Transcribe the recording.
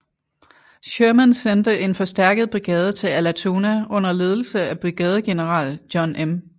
Sherman sendte en forstærket brigade til Allatoona under ledelse af brigadegeneral John M